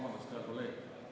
Vabandust, hea kolleeg!